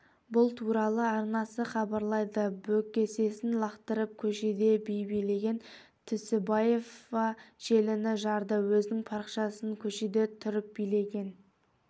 бұл туралы арнасы хабарлайды бөксесін лақтырып көшеде би билеген түсіпбаева желіні жарды өзінің парақшасынакөшеде тұрып билеген